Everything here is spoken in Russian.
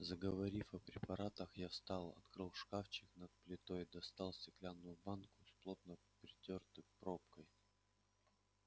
заговорив о препаратах я встал открыл шкафчик над плитой достал стеклянную банку с плотно притёртой пробкой